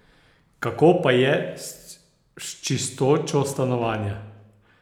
Kako pa je s čistočo stanovanja?